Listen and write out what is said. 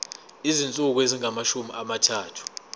izinsuku ezingamashumi amathathu